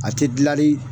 A tɛ gilali